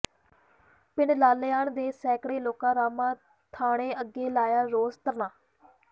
ਪਿੰਡ ਲਾਲੇਆਣਾ ਦੇ ਸੈਂਕੜੇ ਲੋਕਾਂ ਰਾਮਾਂ ਥਾਣੇ ਅੱਗੇ ਲਾਇਆ ਰੋਸ ਧਰਨਾ